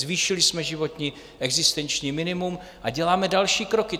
Zvýšili jsme životní, existenční minimum a děláme další kroky.